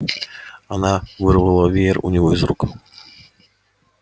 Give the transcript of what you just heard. она вырвала веер у него из рук